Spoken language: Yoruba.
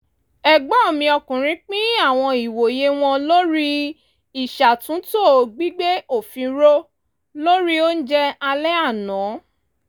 ẹ̀gbọ́n mi ọkùnrin pín àwọn ìwòye wọn lórí ìṣàtúntò gbígbé òfin ró lórì oúnjẹ alẹ́ àná